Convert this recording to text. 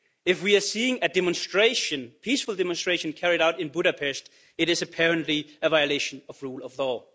If we see a demonstration, a peaceful demonstration, carried out in Budapest, it is apparently a violation of the rule of law.